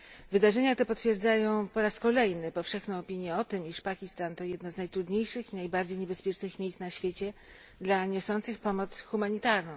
Wydarzenia te potwierdzają po raz kolejny powszechną opinię o tym, że Pakistan to jedno z najtrudniejszych i najbardziej niebezpiecznych miejsc na świecie dla niosących pomoc humanitarną.